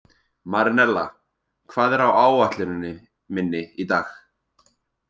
Marinella, hvað er á áætluninni minni í dag?